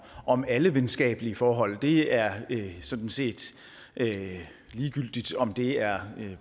om alle venskabelige forhold det er sådan set ligegyldigt om det er